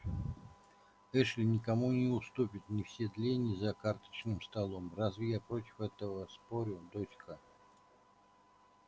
эшли никому не уступит ни в седле ни за карточным столом разве я против этого спорю дочка